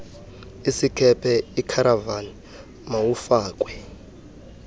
isikhephe ikharavani mawufakwe